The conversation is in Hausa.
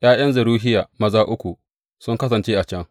’Ya’yan Zeruhiya, maza uku sun kasance a can.